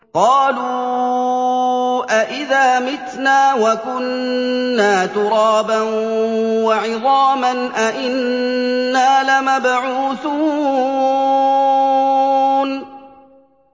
قَالُوا أَإِذَا مِتْنَا وَكُنَّا تُرَابًا وَعِظَامًا أَإِنَّا لَمَبْعُوثُونَ